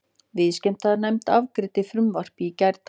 Viðskiptanefnd afgreiddi frumvarpið í gærdag